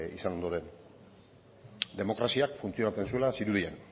izan ondoren demokraziak funtzionatzen zuela zirudien